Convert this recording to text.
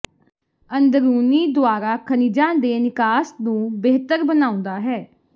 ਅੰਦਰੂਨੀ ਦੁਆਰਾ ਖਣਿਜਾਂ ਦੇ ਨਿਕਾਸ ਨੂੰ ਬਿਹਤਰ ਬਣਾਉਂਦਾ ਹੈ